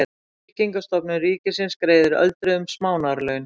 Tryggingastofnun ríkisins greiðir öldruðum smánarlaun.